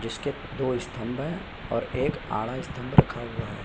जिसके दो स्तम्भं हैं और एक आड़ा स्तम्भ रखा हुआ है।